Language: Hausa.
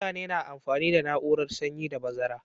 Mutane na amfani da na'urar sanyi da bazara.